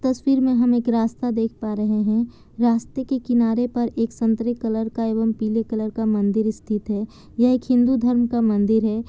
तस्वीर में हम एक रास्ता देख पा रहे हैं। रास्ते के किनारे पर एक संतरे कलर एवं पीले कलर का मंदिर स्थित है। यह एक हिन्दू धर्म का मंदिर है ।